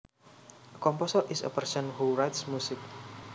A composer is a person who writes music